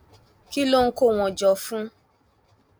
kí ló ń kó wọn jọ fún